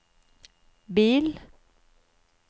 bil